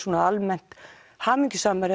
hamingjusamari